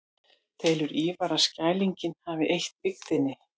Telur Ívar að Skrælingjar hafi eytt byggðina.